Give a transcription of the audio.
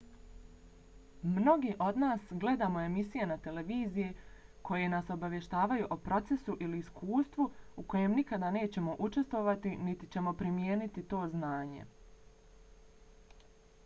mnogi od nas gledamo emisije na televiziji koje nas obavještavaju o procesu ili iskustvu u kojem nikada nećemo učestvovati niti ćemo primijeniti to znanje